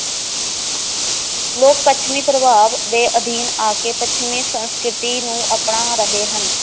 ਲੋਕ ਪੱਛਮੀ ਪ੍ਰਭਾਵ ਦੇ ਅਧੀਨ ਆ ਕੇ ਪੱਛਮੀ ਸੰਸਕ੍ਰਿਤੀ ਨੂੰ ਅਪਣਾ ਰਹੇ ਹਨ